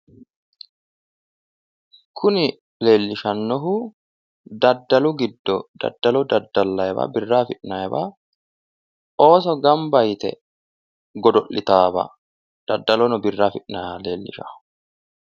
Kuni leellishannohu daddalu giddo, daddalo daddallayiwa birra afi'nayiwa ooso gamba yite godo'litannowa daddalonno birra affi'nayiwa lellishanno.